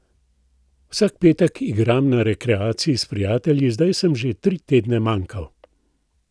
Vsak petek igram na rekreaciji s prijatelji in zdaj sem že tri tedne manjkal.